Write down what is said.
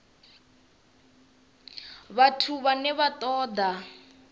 vhathu vhane vha ṱo ḓa